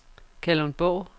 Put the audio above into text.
Kalundborg